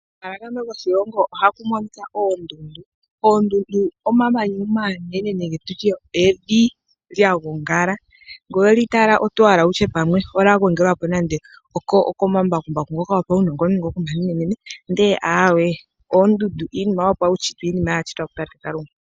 Omahala gamwe goshilongo ohaku monika oondundu. Oondundu omamanya omanene nenge tutye evi lya gongala ngele oweli tala oto hala wutye olya gongelwa po nande okomambakumbaku ngoka gopaunongononi ngoka omanene ndele aawe oondundu iinima yopaushitwe iinima ya shitwa kutate Kalunga.